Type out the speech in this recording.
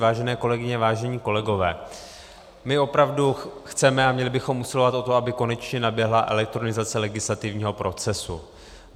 Vážené kolegyně, vážení kolegové, my opravdu chceme a měli bychom usilovat o to, aby konečně naběhla elektronizace legislativního procesu.